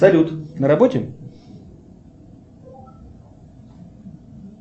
салют на работе